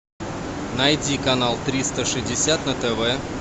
найди канал триста шестьдесят на тв